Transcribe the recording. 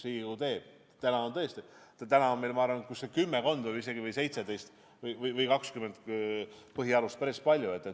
Täna on meil tõesti, ma arvan, kümmekond või isegi 17 või 20 põhialuste dokumenti – päris palju.